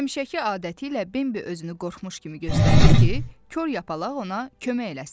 Həmişəki adəti ilə Bembi özünü qorxmuş kimi göstərdi ki, kor yapalaq ona kömək eləsin.